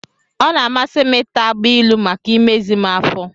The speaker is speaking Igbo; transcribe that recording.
Ọ na-amasị m ịta agbailu maka imezi m afọ.